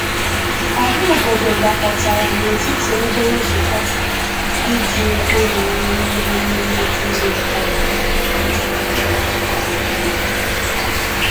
Ọha obodo gbakọtara n’etiti ebe nzukọ iji egwu na nri mee emume iri mkpụrụ.